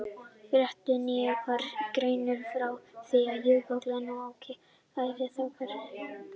Í fréttum nýverið var greint frá því að jökullinn á Oki væri að hverfa.